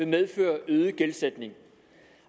medføre øget gældsætning